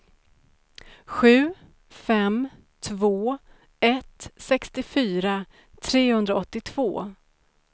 sju fem två ett sextiofyra trehundraåttiotvå